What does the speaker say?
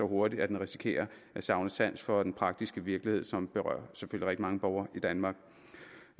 hurtigt at den risikerer at savne sans for den praktiske virkelighed som berører rigtig mange borgere i danmark